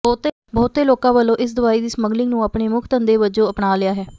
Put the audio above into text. ਬਹੁਤੇ ਲੋਕਾਂ ਵੱਲੋਂ ਇਸ ਦਵਾਈ ਦੀ ਸਮੱਗਲਿੰਗ ਨੂੰ ਆਪਣੇ ਮੁੱਖ ਧੰਦੇ ਵਜੋਂ ਅਪਣਾ ਲਿਆ ਹੈ